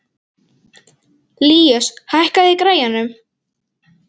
Líus, hækkaðu í græjunum.